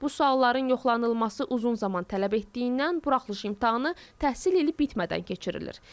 Bu sualların yoxlanılması uzun zaman tələb etdiyindən buraxılış imtahanı təhsil ili bitmədən keçirilir.